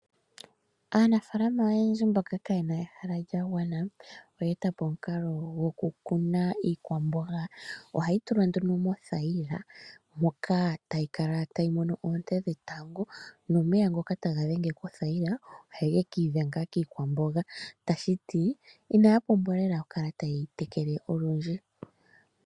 Aanafaalama oyendji mboka kaye na ehala lyagwana oye eta po omukalo gokukuna iikwamboga. Ohayi tulwa nduno mothayila moka tayi kala tayi mono oonte dhetango dha ngambekwa nomeya ngoka haga dhenge kothayila ohaga ki idhenga kiikwamboga. Tashi ti inaya pumbwa lela okukala taye yi tekele olundji.